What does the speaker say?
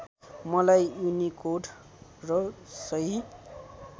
मलाई युनिकोड र सही